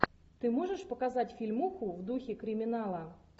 ты можешь показать фильмуху в духе криминала